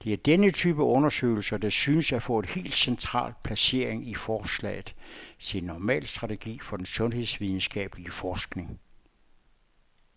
Det er denne type undersøgelser, der synes at få et helt central placering i forslaget til en normal strategi for den sundhedsvidenskabelig forskning.